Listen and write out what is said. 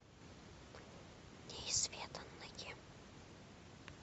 неизведанное